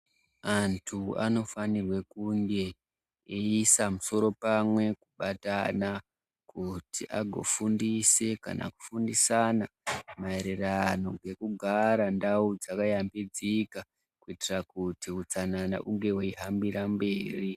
Antu anofanirwe kunge eiisa musoro pamwe kubatana kuti agofundise kana kufundisana maererano ngekugara ndau dzakayambidzika kuitira kuti utsanana unge hweihambira mberi.